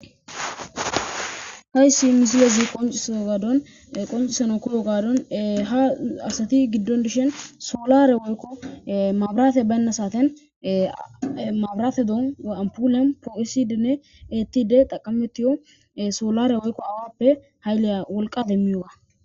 Haysi misilezi qoncisana koyiday gadon ha asati gidon dishin solare woyko mabirate bayna saten anpole ethidine po'isidi xaqametiyo solare woyko awape wolqa demiyoga